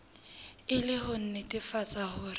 e le ho nnetefatsa hore